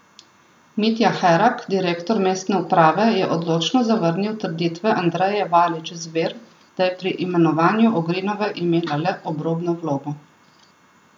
Mitja Herak, direktor mestne uprave, je odločno zavrnil trditve Andreje Valič Zver, da je pri imenovanju Ogrinove imela le obrobno vlogo.